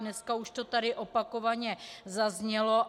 Dneska to tady už opakovaně zaznělo.